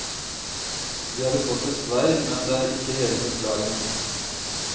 De hadde kortest vei, men det er ikke hele forklaringen.